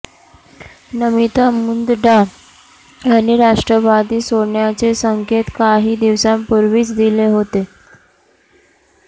नमिता मुंदडा यांनी राष्ट्रवादी सोडण्याचे संकेत काही दिवसांपूर्वीच दिले होते